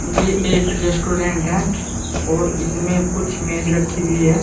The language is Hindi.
ये एक रेस्टोरेंट है और इसमें कुछ मेज रखी गई है।